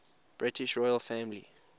british royal family